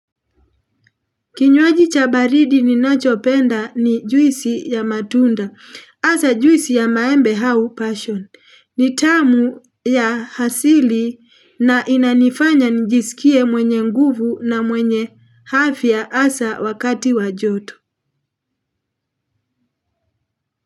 Kinywaji cha baridi ninachopenda ni juisi ya matunda hasa juisi ya maembe au passion ni tamu ya asili na inanifanya njisikie mwenye nguvu na mwenye afya hasa wakati wa joto.